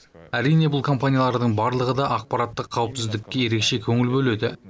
әрине бұл компаниялардың барлығы да ақпараттық қауіпсіздікке ерекше көңіл бөледі